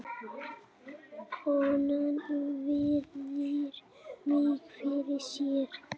Konan virðir mig fyrir sér.